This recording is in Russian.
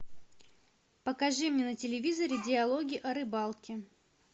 покажи мне на телевизоре диалоги о рыбалке